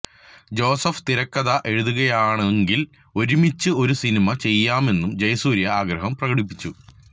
Joseph തിരക്കഥ എഴുതുകയാണെങ്കിൽ ഒരുമിച്ച് ഒരു സിനിമ ചെയ്യാമെന്നും ജയസൂര്യ ആഗ്രഹം പ്രകടിപ്പിച്ചു